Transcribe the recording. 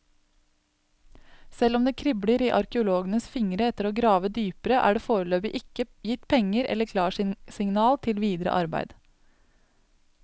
Selv om det kribler i arkeologenes fingre etter å grave dypere, er det foreløpig ikke gitt penger eller klarsignal til videre arbeider.